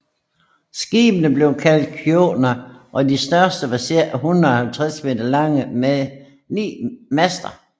Skibene blev kaldt djonker og de største var cirka 150 m lange med ni master